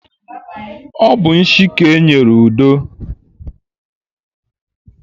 Ọ bụ nshi ka e nyere Udo.